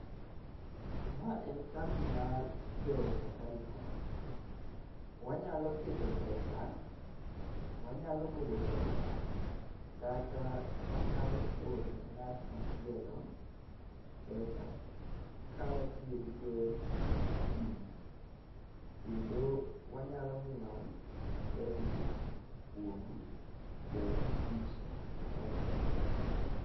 Ma en kambi mar jo safaricom. Wanyalo keto pesa, wanyalo golo pesa kata wanyalo oro ne ng'at machielo, pesa ka watiyo gi yor simu. Kendo wanyalo nyieo kredit kuom jotij safaricom gi.